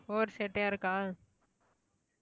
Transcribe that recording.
over சேட்டையா இருக்கா?